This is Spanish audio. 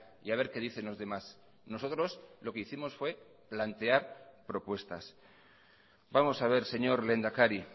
y a ver que dicen los demás nosotros lo que hicimos fue plantear propuestas vamos a ver señor lehendakari